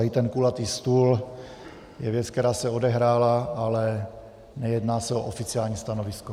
A i ten kulatý stůl je věc, která se odehrála, ale nejedná se o oficiální stanovisko.